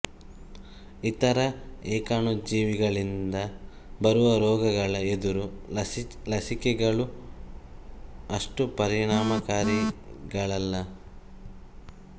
ಇತರ ಏಕಾಣುಜೀವಿಗಳಿಂದ ಬರುವ ರೋಗಗಳ ಎದುರು ಲಸಿಕೆಗಳು ಅಷ್ಟು ಪರಿಣಾಮಕಾರಿಗಳಲ್ಲ